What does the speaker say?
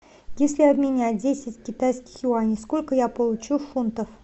если обменять десять китайских юаней сколько я получу фунтов